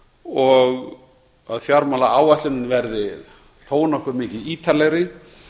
og að fjármálaáætlunin verði þó nokkuð mikið ítarlegri